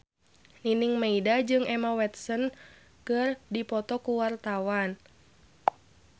Nining Meida jeung Emma Watson keur dipoto ku wartawan